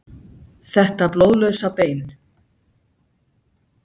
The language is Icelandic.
Þetta blóðlausa bein.